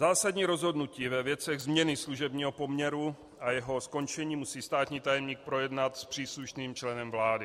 Zásadní rozhodnutí ve věcech změny služebního poměru a jeho skončení musí státní tajemník projednat s příslušným členem vlády.